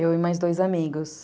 Eu e mais dois amigos.